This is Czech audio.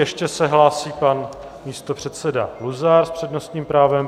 Ještě se hlásí pan místopředseda Luzar s přednostním právem.